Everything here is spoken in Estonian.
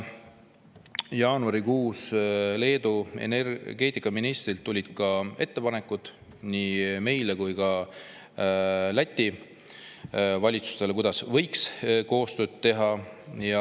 Jaanuarikuus tulid Leedu energeetikaministrilt ettepanekud nii meie kui ka Läti valitsusele, kuidas võiks koostööd teha.